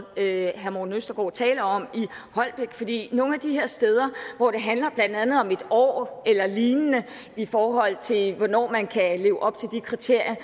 herre morten østergaard taler om nogle af de her steder hvor det handler blandt andet om et år eller lignende i forhold til hvornår man kan leve op til de kriterier